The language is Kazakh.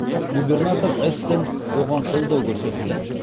губернатор эссен оған қолдау көрсетті